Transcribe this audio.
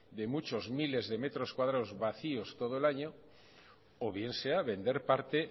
de muchos de miles de metros cuadrados vacíos todo el año o bien sea vender parte